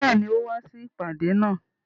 Béèni, kò wá sí ìpàdé náà